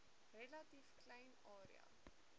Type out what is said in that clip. relatief klein area